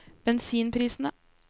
bensinprisene